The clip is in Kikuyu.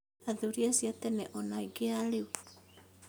Athuri acio a tene ona angĩ a rĩu